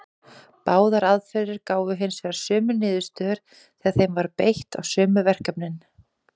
Báðar aðferðir gáfu hins vegar sömu niðurstöður þegar þeim var beitt á sömu verkefnin.